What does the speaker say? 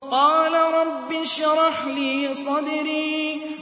قَالَ رَبِّ اشْرَحْ لِي صَدْرِي